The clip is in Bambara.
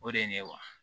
O de ye ne ye wa